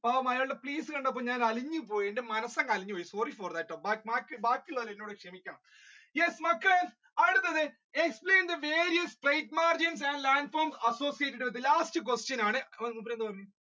പാവം അയാളുടെ face കണ്ടപ്പോൾ ഞാൻ അലിഞ്ഞുപ്പോയി എന്റെ മനസ് അങ്ങ് അലിഞ്ഞുപ്പോയി sorry for that yes മക്കളെ അടുത്തത് explain the various trade margin and landform associated with it, last question ആണ്